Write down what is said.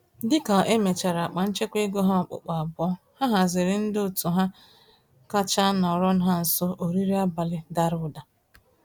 Dịka emechara akpa-nchekwa-ego ha okpukpu abụọ, ha haziiri ndị òtù ha kacha nọrọ ha nso, oriri abalị dàrà ụda